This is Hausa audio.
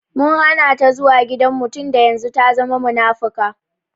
Mun Hana ta zuwa gidan mu tunda yanzun ta zama munafuka.